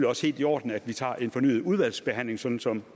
også helt i orden at vi tager en fornyet udvalgsbehandling sådan som